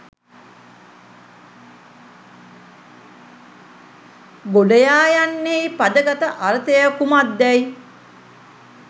ගොඩයා යන්නෙහි පදගත අර්ථය කුමක්දැයි